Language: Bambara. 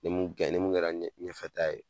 Ni mun ni mun kɛra ɲɛfɛta ye